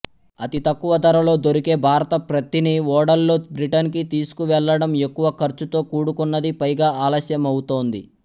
అతి తక్కువ ధరలో దొరికే భారత ప్రత్తిని ఓడల్లో బ్రిటన్ కి తీసుకువెళ్ళడం ఎక్కువ ఖర్చుతో కూడుకున్నది పైగా ఆలస్యమవుతోంది